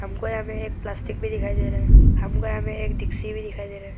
हमको यहां पे एक प्लास्टिक भी दिखाई दे रहा है हमको यहां पे एक डिक्सी भी दिखाई दे रहा है।